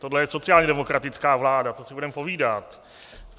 Tohle je sociálně demokratická vláda, co si budeme povídat.